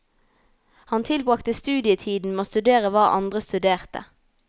Han tilbragte studietiden med å studere hva andre studerte.